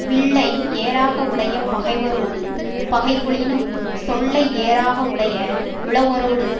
வில்லை ஏராக உடைய பகைவரோடு பகைகொளினும் சொல்லை ஏராக உடைய உழவரோடு